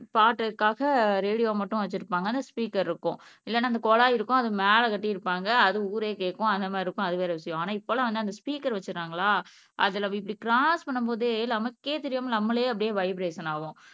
பாட்டுக்காக radio மட்டும் வச்சிருப்பாங்க ஆனா ஸ்பீக்கர் இருக்கும் இல்லைன்னா அந்த குழாய் இருக்கும் அது மேல கட்டி இருப்பாங்க அது ஊரே கேக்கும் அந்த மாதிரி இருக்கும் அது வேற விஷயம் ஆனா இப்பலாம் வந்து அந்த ஸ்பீக்கர் வச்சுறாங்களா அதுல இப்படி கிராஸ் பண்ணும்போதே நமக்கே தெரியாமல் நம்மளே அப்படியே வைபிரேசன் ஆவோம்